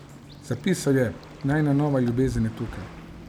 Zapisal je: "Najina nova ljubezen je tukaj!